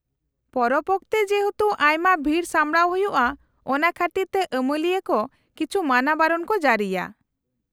-ᱯᱚᱨᱚᱵ ᱚᱠᱛᱮ ᱡᱮᱦᱮᱛᱩ ᱟᱭᱢᱟ ᱵᱷᱤᱲ ᱥᱟᱢᱲᱟᱣ ᱦᱩᱭᱩᱜᱼᱟ ᱚᱱᱟ ᱠᱷᱟᱹᱛᱤᱨᱛᱮ ᱟᱹᱢᱟᱹᱞᱤᱭᱟᱹ ᱠᱚ ᱠᱤᱪᱷᱩ ᱢᱟᱱᱟᱵᱟᱨᱚᱱ ᱠᱚ ᱡᱟᱹᱨᱤᱭᱟ ᱾